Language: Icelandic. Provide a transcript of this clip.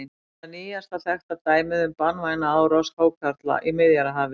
Þetta er nýjasta þekkta dæmið um banvæna árás hákarla í Miðjarðarhafi.